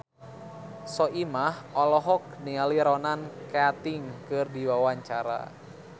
Soimah olohok ningali Ronan Keating keur diwawancara